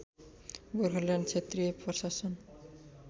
गोर्खाल्यान्ड क्षेत्रीय प्रशासन